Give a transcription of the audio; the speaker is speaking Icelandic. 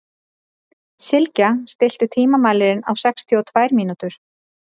Sylgja, stilltu tímamælinn á sextíu og tvær mínútur.